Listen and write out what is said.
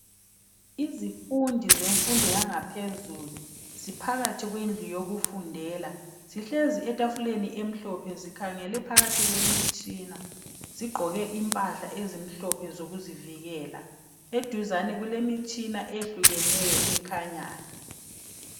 Izifundi zemfundo yangaphezulu ziphakathi kwendlu yokufundela zihlezi etafuleni emhlophe zikhangele phakathi kwemitshina zigqoke impahla ezimhlophe zokuzivikela. Eduzane kulemitshina eyehlukeneyo ekhanyayo.